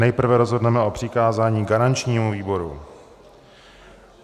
Nejprve rozhodneme o přikázání garančnímu výboru.